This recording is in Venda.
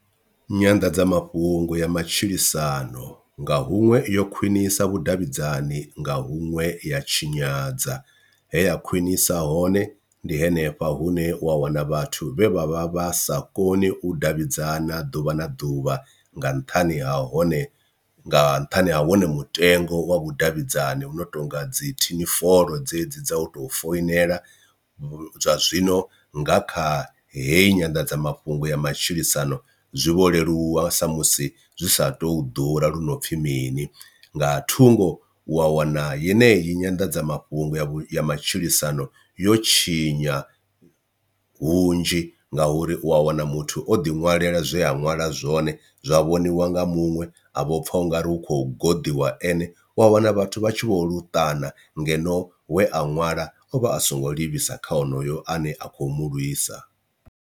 Nyanḓadzamafhungo ya matshilisano nga huṅwe yo khwinisa vhudavhidzani nga huṅwe ya tshinyadza heya khwinisa hone ndi henefha hune wa wana vhathu vhe vha vha vha sa koni u davhidzana ḓuvha na ḓuvha nga nṱhani ha hone nga nṱhani ha wone mutengo wa vhudavhidzani hu no tonga dzi thinifolo dzedzi dza u tou foinela, zwa zwino nga kha heyi nyanḓadzamafhungo ya matshilisano zwi vho leluwa sa musi zwi sa tou ḓura lu no pfhi mini. Nga thungo wa wana yeneyi nyanḓadzamafhungo ya matshilisano yo tshinya hunzhi nga uri u a wana muthu o ḓi ṅwalela zwe a ṅwala zwone zwa vhoniwa nga muṅwe a vho pfha ungari u khou guḓiwa ene u a wana vhathu vha tshi vho luṱana ngeno we a ṅwala ovha asongo livhisa kha onoyo ane a khou mu lwisa.